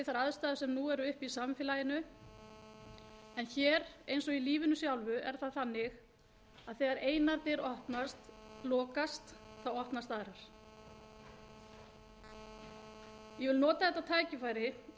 aðstæður sem nú eru uppi í samfélaginu en hér eins og í lífinu sjálfu er það þannig að þegar einar dyr lokast opnast aðrar ég vil nota þetta tækifæri og